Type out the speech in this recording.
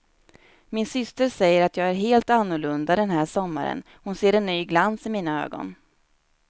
Min syster säger att jag är helt annorlunda den här sommaren, hon ser en ny glans i mina ögon.